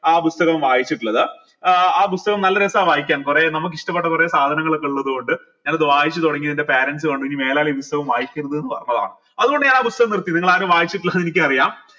ആ പുസ്തകം വായിച്ചിട്ടിള്ളത് ഏർ ആ പുസ്തകം നല്ല രസ വായിക്കാൻ കൊറേ നമ്മക്ക് ഇഷ്ടപെട്ട കൊറേ സാധനങ്ങളൊക്കെ ഉള്ളത് കൊണ്ട് ഞാൻ അത് വായിച്ച് തൊടങ്ങി എന്റെ parents കണ്ടു ഇനി മേലാൽ ഈ പുസ്തകം വായിക്കരുതെന്ന് പറഞ്ഞതാണ് അത്കൊണ്ട് ഞാൻ ആ പുസ്തകം നിർത്തി നിങ്ങൾ ആരും വായിച്ചിട്ടില്ല എന്ന് എനിക്കറിയാം